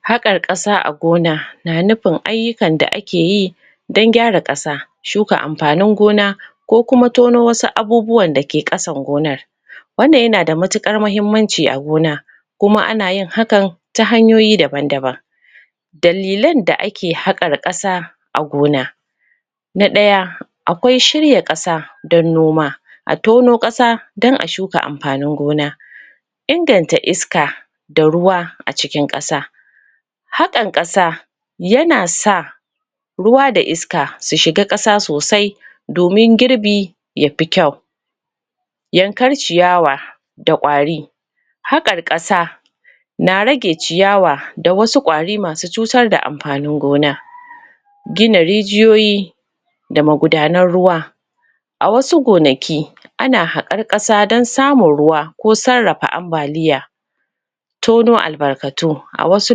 Haƙar ƙasa a gona, na nufin ayyukan da akeyi dan gyara ƙasa. Shuka amfanin gona, ko kuma tono wasu abubuwan da ke ƙasar gonar. Wannan yana da matuƙar muhimmanci a gona, kuma anyin hakan ta hanyoyi daban-daban. Dalilan da ake haƙar ƙasa a gona. Na ɗaya, akwai shirya ƙasa don noma A tono ƙasa, don a shuka amfanin gona. Inganta iska, da ruwa a cikin ƙasa. Haƙan ƙasa, yana sa ruwa da iska su ciga ƙasa sosai, domin girbi yafi kyau, Yankar ciyawa da ƙwari. Haƙar ƙasa na rage ciyawa, da wasu ƙwari masu cutar da amfanin gona. Gina rijiyoyi da magudanan ruwa. A wasu gonaki, ana haƙar ƙasa don samun ruwa, ko sarrafa ambaliya. Tono albarkatu. A wasu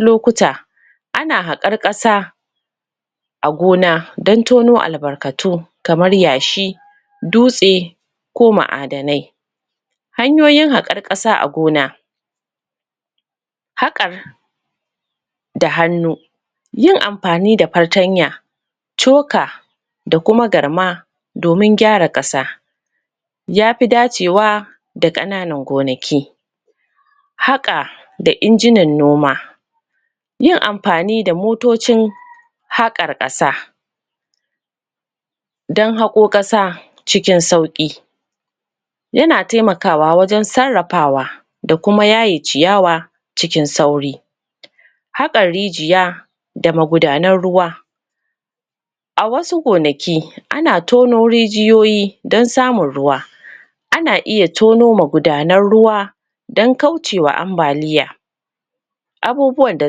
lokuta, ana haƙar ƙasa a gona, dan tono albarkatu. Kamar yashi, dutse, ko ma'adanai. Hanyoyin haƙan ƙasa a gona: Haƙar da hannu, yin amfani da fartanya, coka da kuma garma, domin gyara ƙasa, yafi dacewa da ƙananan gonaki. Haƙa da injinan noma. Yin amfani da motocin haƙar ƙasa, dan haƙao ƙasa cikin sauƙi. Yana taimakawa wajen sarrafawa, da kuma yaye ciyawa cikin sauri. Haƙar rijiya, da magudanan ruwa. A wasu gonaki, ana tono rijiyoyi don samun ruwa. Ana iya tono magudanan ruwa, dan kaucewa ambaliya. Abubuwan da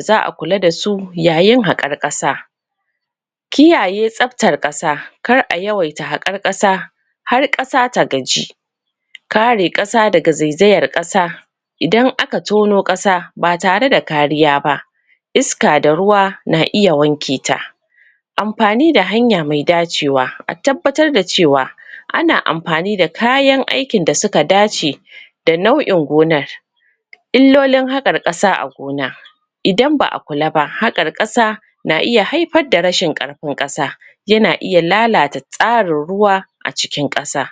za a kula dasu yayin haƙar ƙasa: Kiyaye tsabtar ƙasa, kar a yawaita haƙar ƙasa har ƙasa ta gaji. Kare ƙasa daga zaizayar ƙasa. Idan aka tono ƙasa ba tare da kariya ba, iska da ruwa na iya wanke ta. Amfani da hanya mai dacewa. A tabbatar da cewa, ana amfani da kayan aikin da suka dace da na'uin gonar. Illolin haƙar ƙasa a gona. Idan ba a kula ba, haƙar ƙasa na iya haifar da rashin ƙarfin ƙasa, yana iya lalata tsarin ruwa a cikin ƙasa.